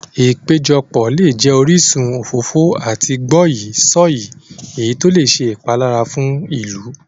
Ìpéjọpọ̀ lè jẹ orísun òfófó àti gbọ́yìí-sọ̀yìí, èyí tó lè ṣe ìpalára fún ìlú.